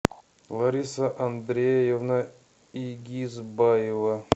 лариса андреевна игизбаева